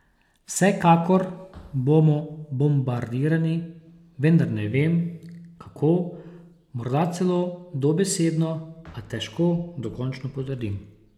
Vsekakor bomo bombardirani, vendar ne vem, kako, morda celo dobesedno, a težko dokončno potrdim.